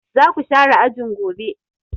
Za ku share ajin gobe!